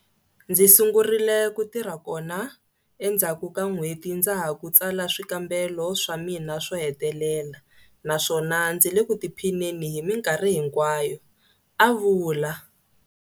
Ndzi sungurile ku tirha kona endzhaku ka n'hweti ndza ha ku tsala swikambelo swa mina swo hetelela naswona ndzi le ku tiphineni hi mikarhi hikwayo, a vula.